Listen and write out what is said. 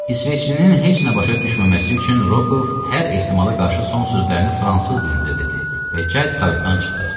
İsveçlinin heç nə başa düşməməsi üçün Rokov hər ehtimala qarşı son sözlərini fransız dilində dedi və Ceyt qayıtdan çıxdı.